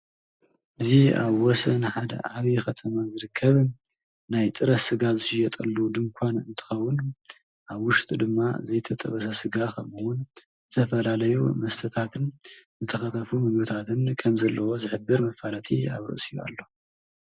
እዚ ኣብ ወሰን ሓደ ዓብዪ ከተማ ዝርከብ ናይ ጥረ ስጋ ዝሽየጠሉ ድንኳን እንትኸውን ኣብ ውሽጡ ድማ ዘይተጠበሰ ስጋ፣ ከምኡ ውን ዝተፈላለዩ መስተታትን፣ ዝተፈላለዩ ምግብታትን ከም ዘለውዎ ዝሕብር ኣብ ርእሲኡ መፋለጢ ኣሎ።